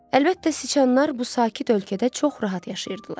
Əlbəttə, siçanlar bu sakit ölkədə çox rahat yaşayırdılar.